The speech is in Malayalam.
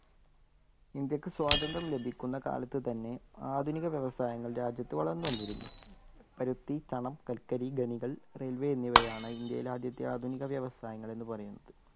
ഇന്ത്യയ്ക്ക് സ്വാതന്ത്ര്യം ലഭിക്കുന്ന കാലത്ത് തന്നെ ആധുനിക വ്യവസായങ്ങൾ രാജ്യത്ത് വളർന്നു വന്നിരുന്നു. പരുത്തി, ചണം, കൽക്കരി, ഖനികൾ, railway എന്നിവയാണ് ഇന്ത്യയിലെ ആദ്യത്തെ ആധുനിക വ്യവസായങ്ങൾ എന്നു പറയുന്നത്